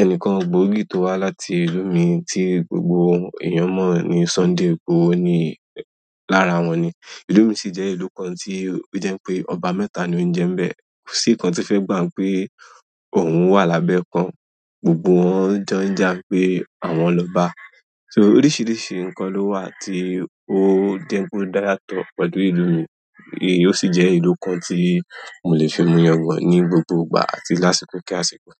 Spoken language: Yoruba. Ẹnìkan gbòógì tó wá láti ìlú mi tí gbogbo èèyàn mọ̀ ní Sunday Ìgbòho ni lára wọn ni. Ìlú mi sì jẹ́ ìlú kan tí ó jẹ́ pé ọba mẹ́ta ni ó ń jẹ ń bẹ. Kò sí nǹkan tí fẹ́ gba pé òun wà lábẹ́ kan, gbogbo wọn ń jọ ń jà pé àwọn lọbá. So oríṣiríṣi nǹkan ló wà tí ó dẹ́kun dáyàto pẹ̀lú ìlú mi. Èyí ó sì jẹ́ ìlú kan tí mo lè fi mu yàngan ní gbogbo ìgbà àti lásìkò kí àsìkò.